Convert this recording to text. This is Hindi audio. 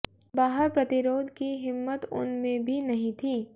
बाहर प्रतिरोध की हिम्मत उन में भी नहीं थी